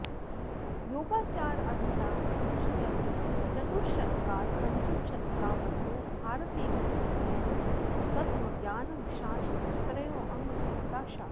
योगाचाराभिधा सृतिः चतुर्थशतकात् पञ्चमशतकावधौ भारते विकसितयोः तत्त्वज्ञानमनश्शास्त्रयोः अङ्गभूता शाखा